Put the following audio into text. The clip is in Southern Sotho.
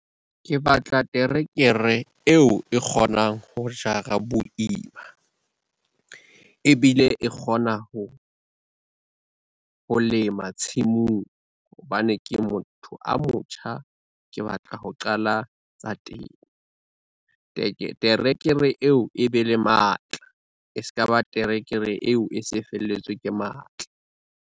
Ke batla terekere eo e kgonang ho jara boima, ebile e kgona ho lema tshimong hobane ke motho a motjha, ke batla ho qala tsa temo. Terekere eo e be le matla e ska ba terekere eo e se felletswe ke matla.